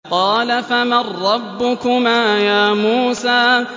قَالَ فَمَن رَّبُّكُمَا يَا مُوسَىٰ